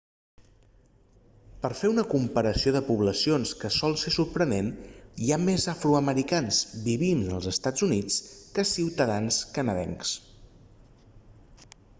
per a fer una comparació de poblacions que sol ser sorprenent hi ha més afroamericans vivint en els eua que ciutadans canadencs